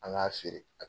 An k'a feere a